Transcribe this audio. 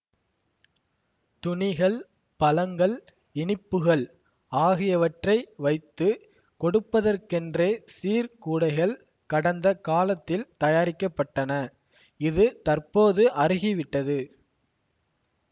துணிகள் பழங்கள் இனிப்புகள் ஆகியவற்றை வைத்து கொடுப்பதற்கென்றே சீர்கூடைகள் கடந்த காலத்தில் தயாரிக்க பட்டன இது தற்போது அருகிவிட்டது